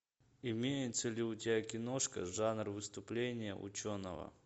имеется ли у тебя киношка жанр выступление ученого